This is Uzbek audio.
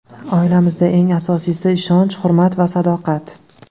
Oilamizda eng asosiysi ishonch, hurmat va sadoqat”.